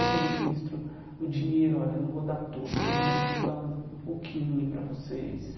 Eu que administro o dinheiro, olha, não vou dar tudo, todo mês eu vou dar um um pouquinho para vocês.